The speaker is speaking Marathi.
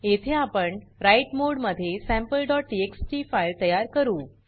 येथे आपण राइट मोड मध्ये sampleटीएक्सटी फाइल तयार करू